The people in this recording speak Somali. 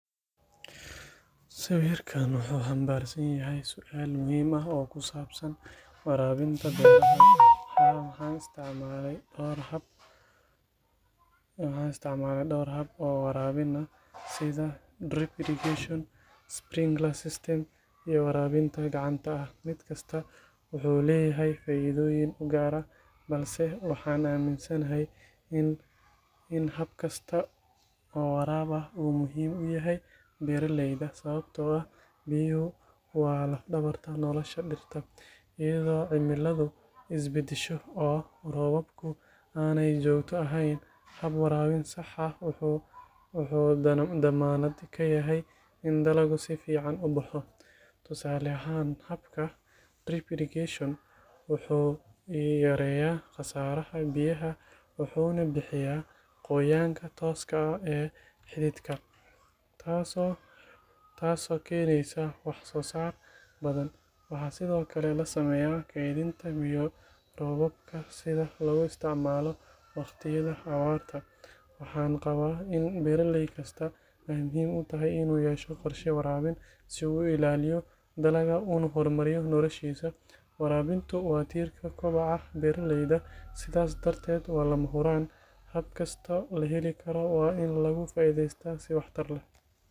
Sawirkan wuxuu xambaarsan yahay su’aal muhiim ah oo ku saabsan waraabinta beerta. Haa, waxaan isticmaalay dhowr hab oo waraabin ah, sida drip irrigation, sprinkler system iyo waraabinta gacanta ah. Mid kasta wuxuu leeyahay faa’iidooyin u gaar ah, balse waxaan aaminsanahay in hab kasta oo waraab ah uu muhiim u yahay beeralayda, sababtoo ah biyuhu waa laf-dhabarta nolosha dhirta. Iyadoo cimiladu isbedesho, oo roobabku aanay joogto ahayn, hab waraabin sax ah wuxuu dammaanad ka yahay in dalaggu si fiican u baxo. Tusaale ahaan, habka drip irrigation wuxuu yareeyaa khasaaraha biyaha wuxuuna bixiyaa qoyaanka tooska ah ee xididka, taasoo keeneysa wax-soo-saar badan. Waxaa sidoo kale la sameeyaa kaydinta biyo roobaadka si loogu isticmaalo waqtiyada abaarta. Waxaan qabaa in beeralay kasta ay muhiim u tahay inuu yeesho qorshe waraabin si uu u ilaaliyo dalagga una horumariyo noloshiisa. Waraabintu waa tiirka kobaca beeraleyda, sidaas darteed waa lama huraan. Hab kastoo la heli karo waa in laga faa’iideystaa si waxtar leh.